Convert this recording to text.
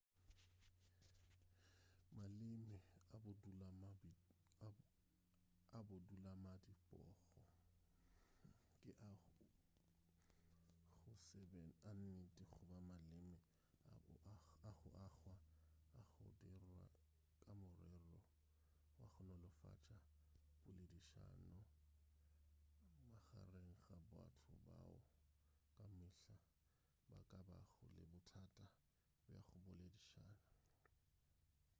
maleme a bodulamadibogo ke a go se be a nnete goba maleme a go agwa a go dirwa ka morero wa go nolofatša poledišano magareng ga batho bao ka mehla ba ka bago le bothata bja go boledišana